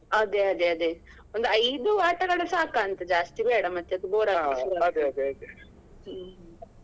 ಅದೇ ಅದೇ ಅದೇ ಒಂದು ಐದು ಆಟಗಳು ಸಾಕಂತ ಜಾಸ್ತಿ ಬೇಡ ಮತ್ತೆ ಅದು bore . ಹ್ಮ್.